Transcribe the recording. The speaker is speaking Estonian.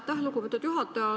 Aitäh, lugupeetud juhataja!